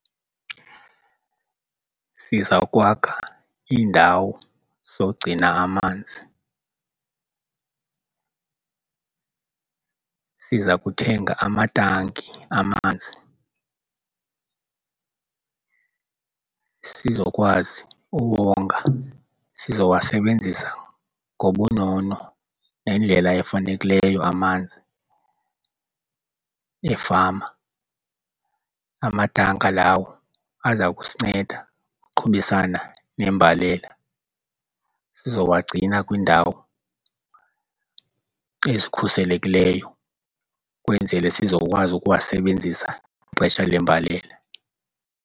Sizawukwakha iindawo zogcina amanzi , siza kuthenga amatanki amanzi sizokwazi ukonga. Sizowasebenzisa ngobunono nendlela efanekileyo amanzi efama. Amatanka lawo aza kusinceda uqhubisana nembalela sizowagcina kwiindawo ezikhuselekileyo ukwenzele sizokwazi ukuwasebenzisa ngexesha lembalela.